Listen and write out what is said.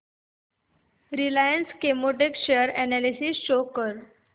Reliance Chemotex share analysis show कर